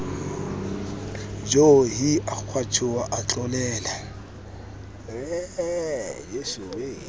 joo hi a kgwatjhoha atlolela